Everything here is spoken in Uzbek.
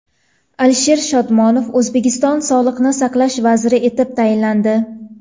Alisher Shodmonov O‘zbekiston Sog‘liqni saqlash vaziri etib tayinlandi .